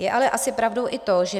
Je ale asi pravdou i to, že